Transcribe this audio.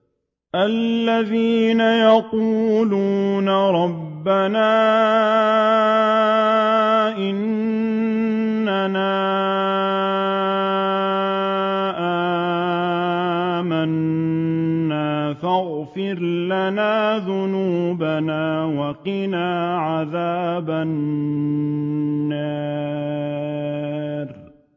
الَّذِينَ يَقُولُونَ رَبَّنَا إِنَّنَا آمَنَّا فَاغْفِرْ لَنَا ذُنُوبَنَا وَقِنَا عَذَابَ النَّارِ